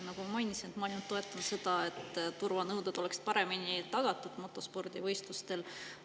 Nagu ma mainisin, ma ainult toetan seda, et turvanõuded oleksid motospordivõistlustel paremini tagatud.